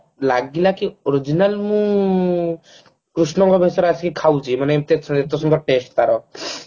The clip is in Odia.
ଲାଗିଲା କି original ମୁଁ କୃଷ୍ଣ ଙ୍କ ଭେଶରେ ଆସିକି ଖାଉଛି ମାନେ ଏତେ ଏତେ ସୁନ୍ଦର test ତାର